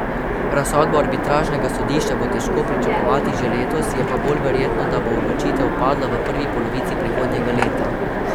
Razsodbo arbitražnega sodišča bo težko pričakovati že letos, je pa bolj verjetno, da bo odločitev padla v prvi polovici prihodnjega leta.